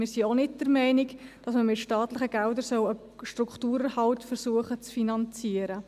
Wir sind auch nicht der Meinung, dass man versuchen soll, mit staatlichen Geldern einen Strukturerhalt zu finanzieren.